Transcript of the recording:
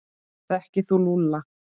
Þekkir þú Lúlla?